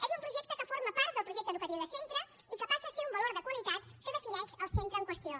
és un projecte que forma part del projecte educatiu de centre i que passa a ser un valor de qualitat que defineix el centre en qüestió